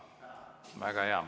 Väga hea!